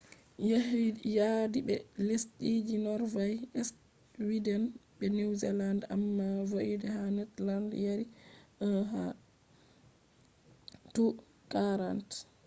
yadi be lesdiji norway sweden be new zealand amma void ha netherland yari 1 to 40